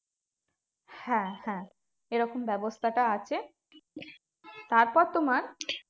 হ্যাঁ হ্যাঁ এই রকম ব্যবস্থা টা আছে তারপর তোমার